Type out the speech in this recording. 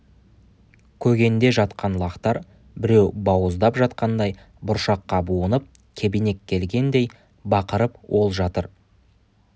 көгенде жатқан лақтар біреу бауыздап жатқандай бұршаққа буынып кебенек келгендей бақырып ол жатыр